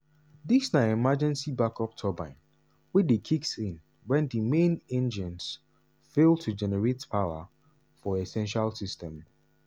dis na emergency back-up turbine wey dey kicks in wen di main engines fail to generate power for essential systems.